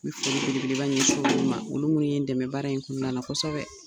Me foli bele beleba ɲɛsin olu ma olu minnu ye n dɛmɛ baara in kɔnɔna la kosɛbɛ.